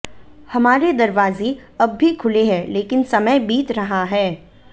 हमारे दरवाजे अब भी खुले हैं लेकिन समय बीत रहा है